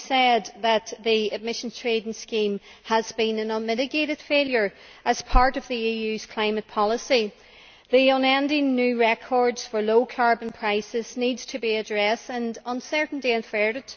must be said that the Emissions Trading Scheme has been an unmitigated failure as part of the EU's climate policy. The unending new records for low carbon prices needs to be addressed and uncertainty averted.